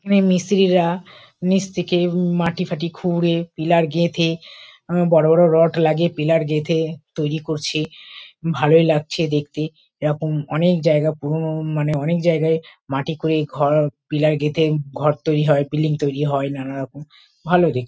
এখানে মিস্ত্রি রা নীচ থেকে মাটি-ফাটি খুঁড়ে পিলার গেঁথে উম বড়ো বড়ো রড লাগিয়ে পিলার গেঁথে তৈরী করছে। ভালোই লাগছে দেখতে। এরকম অনেক জায়গা পুরোনো মানে অনেক জায়গায় মাটি খুঁড়ে ঘর পিলার গেঁথে ঘর তৈরী হয় বিল্ডিং তৈরী হয় নানারকম। ভালো দেখতে।